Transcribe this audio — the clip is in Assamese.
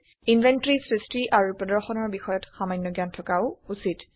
ইনভেন্টৰী সৃষ্টি আৰু প্ৰদৰ্শনৰ বিষয়ত সামান্য জ্ঞান থকাও উচিত